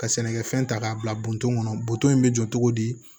Ka sɛnɛkɛfɛn ta k'a bila kɔnɔ bu in bɛ jɔ cogo di